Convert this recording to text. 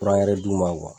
d'u ma